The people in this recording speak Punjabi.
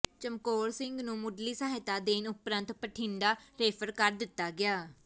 ਚਮਕੌਰ ਸਿੰਘ ਨੂੰ ਮੁੱਢਲੀ ਸਹਾਇਤਾ ਦੇਣ ਉਪਰੰਤ ਬਠਿੰਡਾ ਰੇਫਰ ਕਰ ਦਿੱਤਾ ਗਿਆ